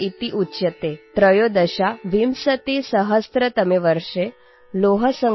तमे वर्षे लौहसंग्रहस्य अभियानम् प्रारब्धम् | १३४टनपरिमितस्य लौहस्य गलनं